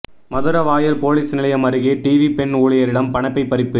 Maduravoyal police நிலையம் அருகே TV பெண் ஊழியரிடம் பணப்பை பறிப்பு